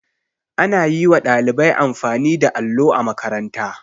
Ana yi wa ɗalibai amfani da allo a makaranta.